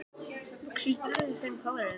En er lyfjanotkun Íslendinga áhyggjuefni?